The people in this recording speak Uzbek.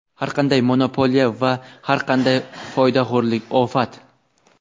Har qanday monopoliya va har qanday foydaxo‘rlik – ofat.